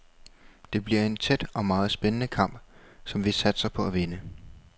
Det bliver en tæt og meget spændende kamp, som vi satser på at vinde.